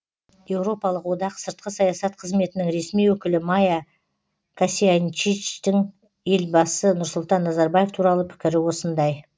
еуропалық одақ сыртқы саясат қызметінің ресми өкілі майя косьянчичтің елбасы нұрсұлтан назарбаев туралы пікірі осындай